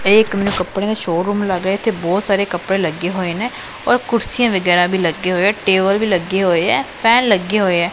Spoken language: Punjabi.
ਇਹ ਮੈਨੂੰ ਇੱਕ ਕੱਪੜਿਆਂ ਦਾ ਸ਼ੋਰੂਮ ਲੱਗ ਰਿਹਾ ਇੱਥੇ ਬਹੁਤ ਸਾਰੇ ਕੱਪੜੇ ਲੱਗੇ ਹੋਏ ਨੇ ਔਰ ਕੁਰਸੀਆਂ ਵਗੈਰਾ ਵੀ ਲੱਗੇ ਹੋਏ ਟੇਬਲ ਵੀ ਲੱਗੇ ਹੋਏ ਹੈ ਫੈਨ ਲੱਗੇ ਹੋਏ ਐ।